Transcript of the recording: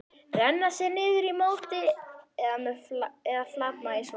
Renna sér niður í móti eða flatmaga í sólbaði?